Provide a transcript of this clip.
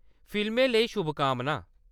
फिल्मै लेई शुभकामनां!